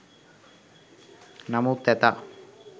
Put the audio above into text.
නමුත් ඇතා